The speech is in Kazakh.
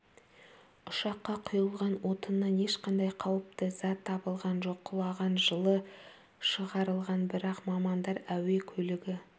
ұшаққа құйылған отыннан ешқандай қауіпті зат табылған жоқ құлаған жылы шығарылған бірақ мамандар әуе көлігі